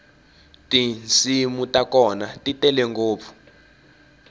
tinsimu ta kona ti tele ngopfu